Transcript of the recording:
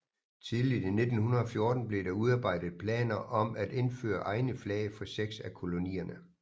Tidligt i 1914 blev der udarbejdet planer om at indføre egne flag for seks af kolonierne